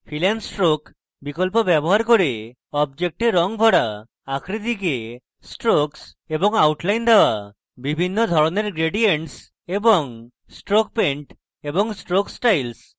fill and stroke বিকল্প ব্যবহার করে objects রঙ ভরা